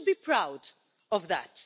We should be proud of that.